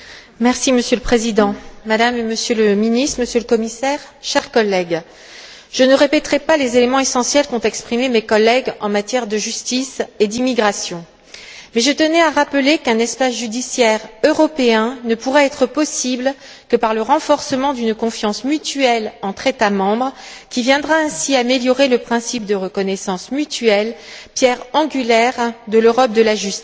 Monsieur le Président, Madame et Monsieur le Ministre, Monsieur le Commissaire, chers collègues, je ne répéterai pas les éléments essentiels qu'ont exprimés mes collègues en matière de justice et d'immigration, mais je tenais à rappeler qu'un espace judiciaire européen ne pourra être mis en place que par le renforcement d'une confiance mutuelle entre États membres, qui viendra ainsi améliorer le principe de reconnaissance mutuelle, pierre angulaire de l'Europe de la justice.